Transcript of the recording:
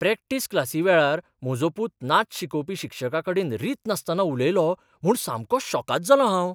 Practice क्लासीवेळार म्हजो पुत नाच शिकोवपी शिक्षकाकडेन रीत नासतना उलयलो म्हूण सामको शॉकाद जालो हांव.